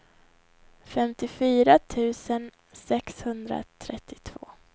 femtiofyra tusen sexhundratrettiotvå